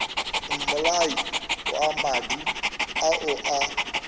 mmolai wa madi ao a